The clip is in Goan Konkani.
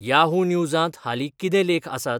याहू न्यूजांत हालीं कितें लेख आसात